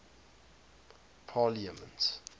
parliaments